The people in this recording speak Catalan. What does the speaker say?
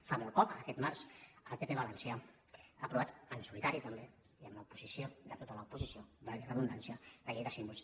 fa molt poc aquest març el pp valencià ha aprovat en solitari també i amb l’oposició de tota l’oposició valgui la redundància la llei de símbols